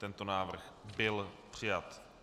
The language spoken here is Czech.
Tento návrh byl přijat.